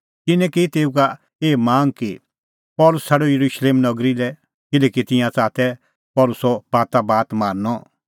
तिन्नैं की तेऊ का एही मांग कि पल़सी छ़ाड येरुशलेम नगरी लै किल्हैकि तिंयां च़ाहा तै पल़सी बातोबात मारनअ